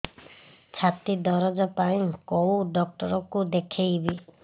ଛାତି ଦରଜ ପାଇଁ କୋଉ ଡକ୍ଟର କୁ ଦେଖେଇବି